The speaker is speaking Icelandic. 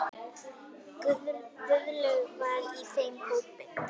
Guðlaug var í þeim hópi.